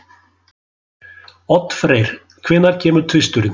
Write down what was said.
Oddfreyr, hvenær kemur tvisturinn?